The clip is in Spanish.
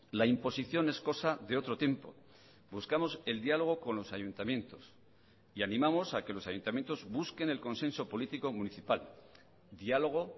la imposición es cosa de otro tiempo buscamos el diálogo con los ayuntamientos y animamos a que los ayuntamientos busquen el consenso político municipal diálogo